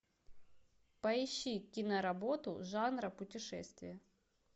поищи киноработу жанра путешествия